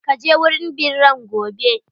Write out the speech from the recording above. Ka je wurin birran gobe!